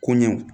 Koɲɛw